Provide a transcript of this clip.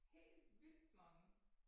Helt vildt mange